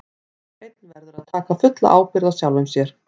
Hver og einn verður að taka fulla ábyrgð á sjálfum sér.